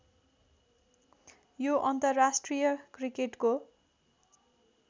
यो अन्तर्राष्ट्रिय क्रिकेटको